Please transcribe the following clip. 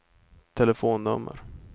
telefonnummer